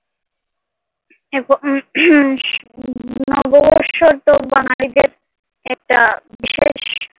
আহ নববর্ষতো বাঙ্গালিদের একটা বিশেষ